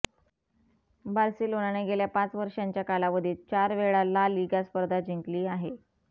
बार्सिलोनाने गेल्या पाच वर्षांच्या कालावधीत चारवेळा ला लीगा स्पर्धा जिंकली आहे